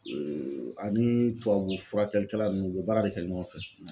ani tubabu furakɛlikɛla ninnu o bɛ baara de kɛ ɲɔgɔn fɛ.